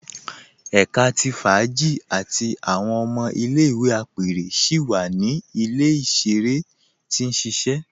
Ẹ̀ká tí fáàjì àti awọn ọmọ ilẹ̀-ìwé apẹrẹ síi wa ni ilẹ̀-iṣẹ̀rẹ tí n ṣiṣẹ